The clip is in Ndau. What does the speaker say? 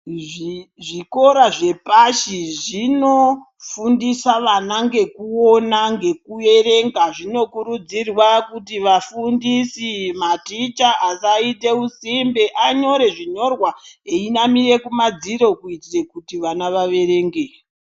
Zvikora zvepashi zvinofundisa vana ngekuona ngekuerenga zvinokurudzirwa kuti vafundisi maticha asaite usimbe anyore zvinyorwa veinamire kumadziro kuitira kuti vana vaverenge.